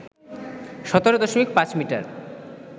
১৭.৫ metre